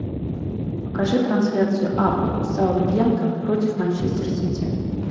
покажи трансляцию апл саутгемптон против манчестер сити